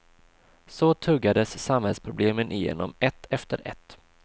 Så tuggades samhällsproblemen igenom ett efter ett.